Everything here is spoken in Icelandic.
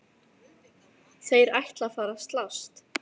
Þeir ætla að fara að slást!